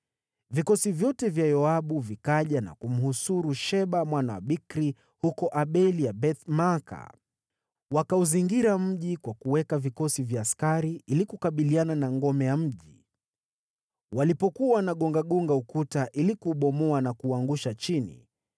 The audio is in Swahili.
Vikosi vyote vya Yoabu vikaja na kumhusuru Sheba mwana wa Bikri huko Abel-Beth-Maaka. Wakauzingira mji kwa kuweka vikosi vya askari, ili kukabiliana na ngome ya mji. Walipokuwa wanagongagonga ukuta ili kuubomoa na kuuangusha chini,